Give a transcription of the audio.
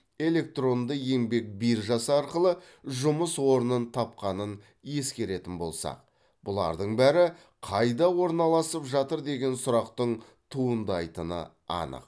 электронды еңбек биржасы арқылы жұмыс орнын тапқанын ескеретін болсақ бұлардың бәрі қайда орналасып жатыр деген сұрақтың туындайтыны анық